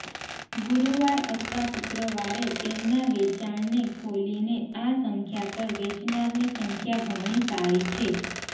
ગુરુવાર અથવા શુક્રવારે તેમના વેચાણને ખોલીને આ સંખ્યા પર વેચનારની સંખ્યા ઘણી સારી છે